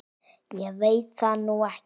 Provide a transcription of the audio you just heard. Ég veit það nú ekki.